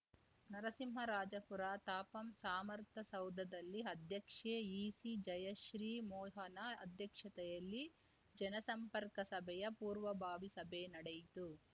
ನರಸಿಂಹರಾಜಪುರ ತಾಪಂ ಸಾಮರ್ಥ ಸೌಧದಲ್ಲಿ ಅಧ್ಯಕ್ಷೆ ಈಸಿ ಜಯಶ್ರೀ ಮೋಹನ ಅಧ್ಯಕ್ಷತೆಯಲ್ಲಿ ಜನಸಂಪರ್ಕ ಸಭೆಯ ಪೂರ್ವಭಾವಿ ಸಭೆ ನಡೆಯಿತು